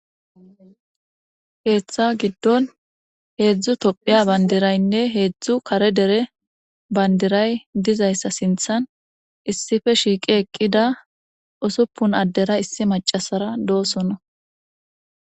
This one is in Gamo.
Keeththa giddon heedzdzu tophiya bandiraynne heedzdzu kare dere bandiray dizayssa sinthan issife shiiqi eqqida usuppun addera issi macasara doosona